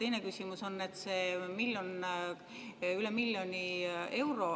Ja teine küsimus on, et kas see miljon, üle miljoni euro raha …